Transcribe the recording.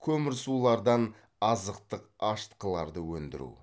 көмірсулардан азықтық ашытқыларды өндіру